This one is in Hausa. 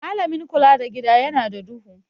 Malamin kula da Gida yana da duhu.